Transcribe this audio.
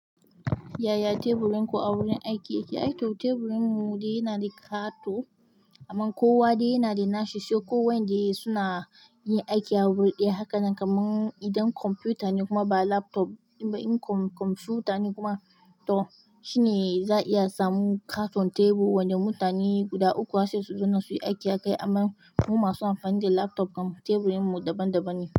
Yaya teburin ku a wurin aiki yake? Ai to teburin mu dai yana da ƙato amma kowa dai yana da nashi, sai ko wanda suna yin aiki a wuri ɗaya. Haka nan kamar idan kwamfuta ne kuma ba laptop ba, in kwamfuta ne kuma to shine za a iya samun ƙaton tebur wanda mutane guda ukku za su zo su yi aiki akai. Amma mu masu amfani da laptop teburin mu daban-daban ne.